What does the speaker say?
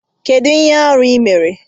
Kedu ihe arụ ị mere?